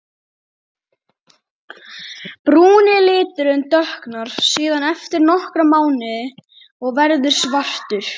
Brúni liturinn dökknar síðan eftir nokkra mánuði og verður svartur.